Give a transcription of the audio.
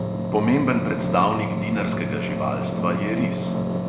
Pomemben predstavnik dinarskega živalstva je ris.